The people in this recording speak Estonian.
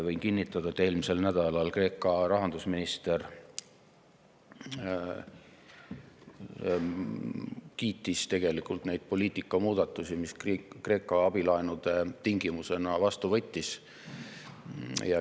Võin kinnitada, et eelmisel nädalal Kreeka rahandusminister kiitis neid poliitikamuudatusi, mis Kreeka abilaenude tingimusena vastu võttis.